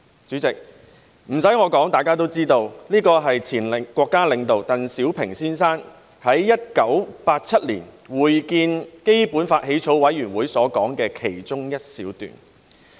"主席，不用我說，大家也知道這是前國家領導鄧小平先生在1987年會見香港特別行政區基本法起草委員會時所說的其中一小段話。